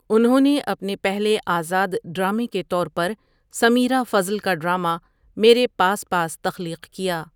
اُنہوں نے اپنے پہلے آزاد ڈرامے کے طور پر سمیرہ فضل کا ڈراما میرے پاس پاس تخلیق کیا۔